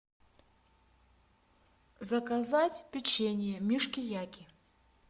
заказать печенье мишки яки